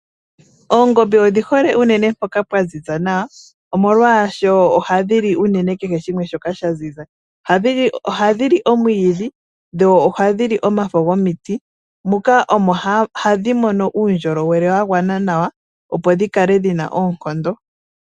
Oongombe odhi hole unene mpoka pwa ziza nawa omolwashoo phadhi l8 unene kehe shimwe shoka sha ziza ohadhili omwiidhi fho ohadhili wo omafo muka omo hadhi mono uundjolowele wa gwana nawa opo dhi kale dhina oonkondo .